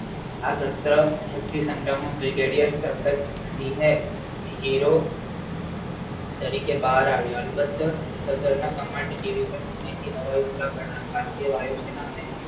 આ brigadier Jagatsingh hero તરીકે બહાર આવ્યા અલબત્ત સાધાર ના command ભારતીય વાયુ સેના અને